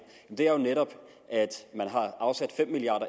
er jo netop at man har afsat fem milliard